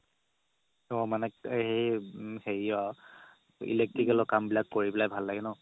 অ মানে হেৰি অ electrical ৰ কাম বিলাক কৰি পেলাই ভাল লাগে ন